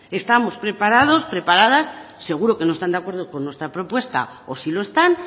estamos preparados preparadas seguro que no están de acuerdo con nuestra propuesta o sí lo están